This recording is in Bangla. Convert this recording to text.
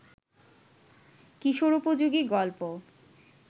কিশোরোপযোগী গল্প